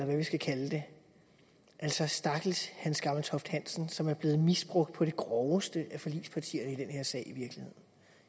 hvad vi skal kalde det altså stakkels hans gammeltoft hansen som i blevet misbrugt på det groveste af forligspartierne i den her sag